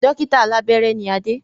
Dókítà alàbẹ́rẹ́ ni Adé